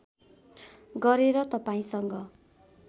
गरेर तपाईँसँग